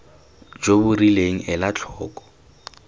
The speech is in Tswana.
jo bo rileng ela tlhoko